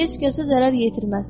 Heç kəsə zərər yetirməz.